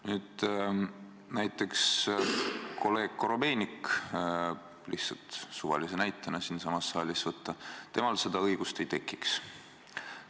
Nüüd, näiteks kolleeg Korobeinik – lihtsalt suvalise näitena siinsamas saalis võtta –, temal seda õigust ei tekiks.